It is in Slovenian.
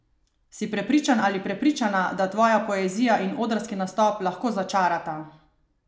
Si prepričan ali prepričana, da tvoja poezija in odrski nastop lahko začarata?